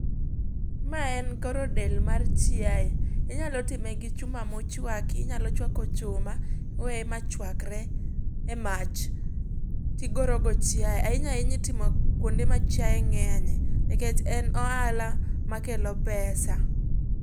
Ma en goro del mar chiaye, inyalo time gi chuma mochuaki, inyalo chuako chuma iwe machuakre emach, tigoro go chiaye. Ahinya ahinya itimo kuonde ma chiaye ng'enye, nikech en ohala ma kelo pesa.